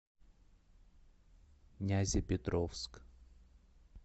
нязепетровск